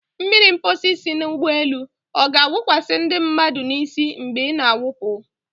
Mmiri mposi si n'ụgbọelu ọ ga-awụkwasị ndị mmadụ n'isi mgbe ị na-awụpụ?